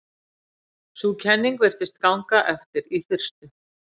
Sú kenning virtist ganga eftir í fyrstu.